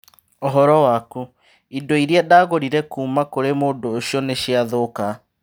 Ũhoro waku, indo iria ndagũrire kuuma kũrĩ mũndũ ũcio nĩ ciathũka